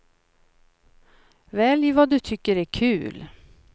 Välj vad du tycker är kul.